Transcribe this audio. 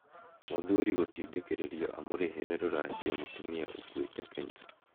Mũthuri gũtindĩkĩrĩrio amurĩhĩre ruracio mũtumia ũkuĩte Kenya